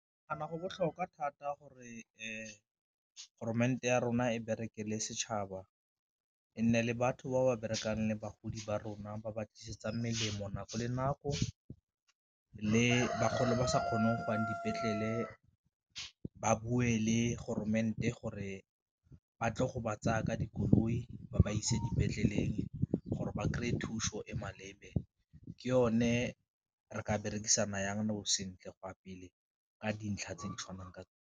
Ke nagana go botlhokwa thata gore ya rona e berekele setšhaba e nne le batho ba ba berekang le bagodi ba rona ba ba tlisetsa melemo nako le nako, le bagolo ba sa kgoneng go ya dipetlele ba bue le gore ba tle go ba tsaya ka dikoloi ba ba ise dipetleleng gore ba kry-e thuso e maleba, ke yone re ka berekisana jang nou sentle go a pele ka dintlha tse di tshwanang ka.